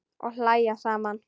Og hlæja saman.